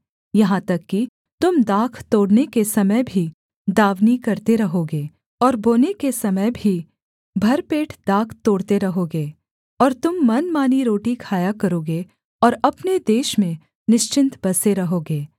यहाँ तक कि तुम दाख तोड़ने के समय भी दाँवनी करते रहोगे और बोने के समय भी भर पेट दाख तोड़ते रहोगे और तुम मनमानी रोटी खाया करोगे और अपने देश में निश्चिन्त बसे रहोगे